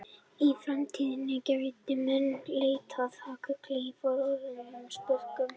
Í framtíðinni gætu menn leitað að gulli í fornum sprungum.